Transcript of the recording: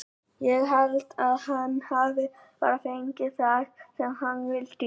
Ég held að hann hafi bara fengið það sem hann vildi í dag.